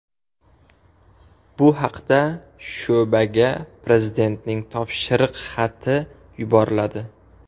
Bu haqda sho‘baga Prezidentning topshiriq xati yuboriladi .